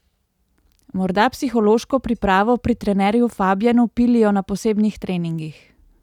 Morda psihološko pripravo pri trenerju Fabjanu pilijo na posebnih treningih?